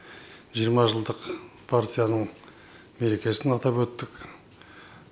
жиырма жылдық партияның мерекесін атап өттік